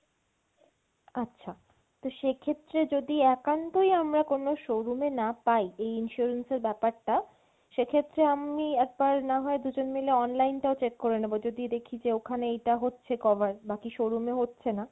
আচ্ছা, তো সেক্ষেত্রে যদি একান্তই আমরা কোনো showroom এ না পাই এই insurance এর ব্যাপারটা সেক্ষেত্রে আমি একবার না হয় দুজন মিলে online টাও check করে নেবো, যদি দেখি যে ওখানে এইটা হচ্ছে cover বাকি showroom এ হচ্ছেনা